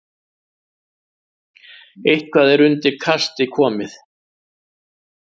Eitthvað er undir kasti komið